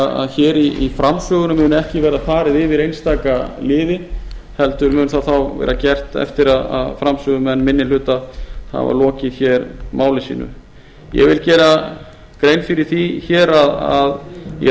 að hér í framsögunum mun ekki verða farið yfir einstaka liði heldur mun það þá vera gert eftir að framsögumenn minni hluta hafa lokið máli sínu ég vil gera grein fyrir því hér að í